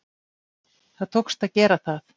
Það tókst að gera það.